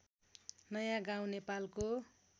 नयाँ गाउँ नेपालको